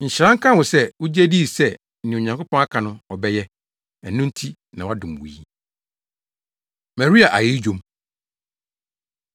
Nhyira nka wo sɛ wugye dii sɛ nea Onyankopɔn aka no ɔbɛyɛ; ɛno nti na wɔadom wo yi.” Maria Ayeyi Dwom